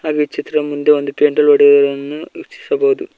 ಇಲ್ಲಿ ಚಿತ್ರ ಮುಂದೆ ಒಂದು ಪೆಂಡಲ್ ಹೊಡೆದಿರುವುದನ್ನು ವೀಕ್ಷಿಸಬಹುದು.